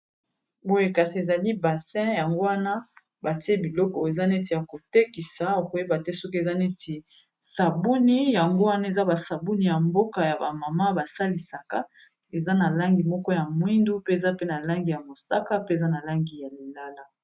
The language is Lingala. boye kasi ezali basin yango wana batie biloko eza neti ya kotekisa okoyeba te soki eza neti sabuni yango wana eza basabuni ya mboka ya bamama basalisaka eza na langi moko ya mwindu pe eza pe na langi ya mosaka pe eza na langi ya lilala